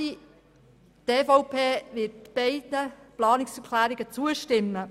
Die EVP wird beiden Planungserklärungen zustimmen.